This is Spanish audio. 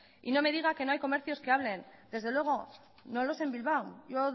y no me diga que no hay comercios que abren desde luego no lo sé en bilbao